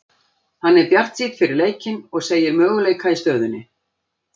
Hann er bjartsýnn fyrir leikinn og segir möguleika í stöðunni.